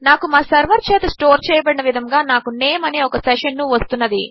నాకు మా సర్వర్ చేత స్టోర్ చేయబడిన విధముగా నాకు నేమ్ అనే ఒక సెషన్ ను వస్తున్నది